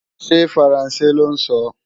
Ṣé faransé lọ́ ń sọ?